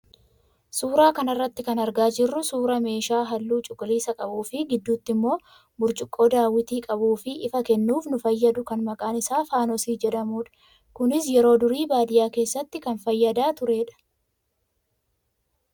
Suuraa kanarraa kan argaa jirru suuraa meeshaa halluu cuquliisa qabuu fi gidduutti immoo burcuqqoo daawwitii qabuu fi ifa kennuuf nu fayyadu kan maqaan isaa faanosii jedhamudha. Kunis yeroo durii baadiyyaa keessatti kan fayyadaa turedha.